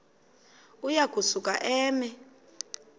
uya kusuka eme